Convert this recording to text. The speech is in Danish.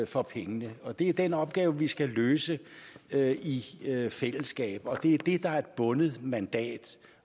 for pengene og det er den opgave vi skal løse i fællesskab og det er det der er et bundet mandat